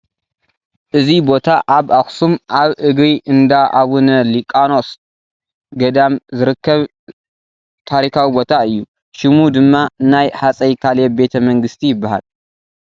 እዚ ቦታ ኣብ ኣኽሱም ኣብ እግሪ እንዳ ኣቡነ ሊቃኖስ ገዳም ዝርከብ ዝርከብ ታሪካዊ ቦታ እዩ፡፡ ሽሙ ድማ ናይ ሃፀይ ካሌብ ቤተ መንግስቲ ይበሃል፡፡